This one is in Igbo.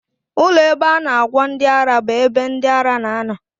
Ụlọ ebe a na agwọ ndị ara bụ ebe ndị ara na-anọ.